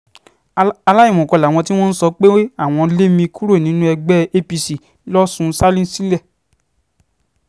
aláìmọ̀kan làwọn tí wọ́n ń sọ pé àwọn lé mi kúrò nínú ẹgbẹ́ apc losùn salinsilẹ̀